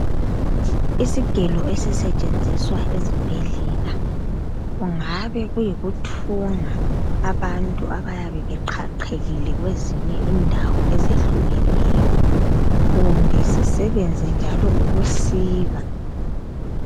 Isigelo esisetshenziswa ezibhedlela kungabe kuyikuthunga abantu abayabe beqhaqhekile kwezinye indawo ezehlukeneyo, kumbe sisebenze njalo ukusika.